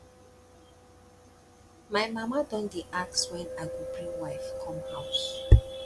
my mama don dey ask when i go bring wife come house